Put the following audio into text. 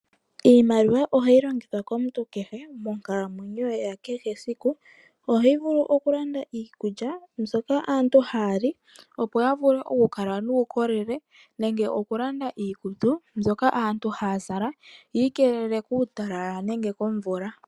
Iimaliwa ohayi longithwa komuntu kehe monkalamwenyo ye ya kehe esiku. Ohayi vulu okulanda iikulya mbyoka aantu haya li ya kale nuukolele yo ohayi vulu okulanda iikutu mbyono aantu haya zala yi igamrne kuutalala nenge komvula.